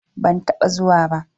Aa, ban taɓa zuwa ba.